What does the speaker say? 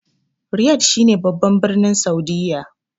Riyad shi ne babban birnin Saudiyya